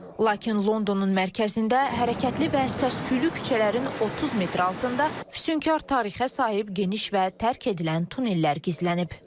Lakin Londonun mərkəzində hərəkətli və səs-küylü küçələrin 30 metr altında füsunkar tarixə sahib geniş və tərk edilən tunnellər gizlənib.